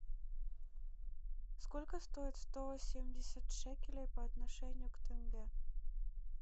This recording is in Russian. сколько стоит сто семьдесят шекелей по отношению к тенге